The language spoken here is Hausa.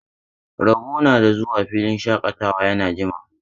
Rabo na da zuwa filin shaƙatawa ya jima.